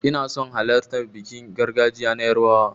Ina son halartan bikin gargajiya na yarbawa.